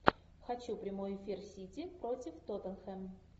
хочу прямой эфир сити против тоттенхэм